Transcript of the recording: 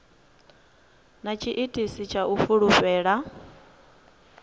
na tshiitisi tsha u fulufhela